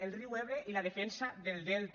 el riu ebre i la defensa del delta